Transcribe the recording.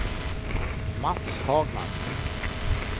Mats Hagman